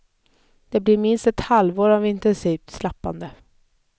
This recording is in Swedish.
Det blir minst ett halvår av intensivt slappande.